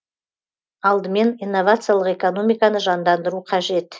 алдымен инновациялық экономиканы жандандыру қажет